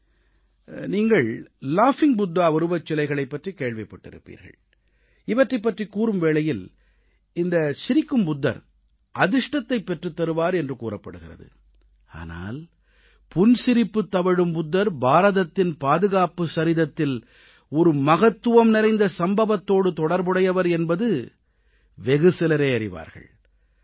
நீங்கள் சிரிக்கும் புத்தர் லாகிங் புத்தா உருவச்சிலைகளைப் பற்றிக் கேள்விப்பட்டிருப்பீர்கள் இவற்றைப் பற்றிக் கூறும் வேளையில் இந்த சிரிக்கும் புத்தர் அதிர்ஷ்டத்தைப் பெற்றுத்தருவார் என்று கூறப்படுகிறது ஆனால் புன்சிரிப்புத் தவழும் புத்தர் பாரதத்தின் பாதுகாப்புச் சரிதத்தில் ஒரு மகத்துவம் நிறைந்த சம்பவத்தோடு தொடர்புடையவர் என்பதை வெகு சிலரே அறிவார்கள்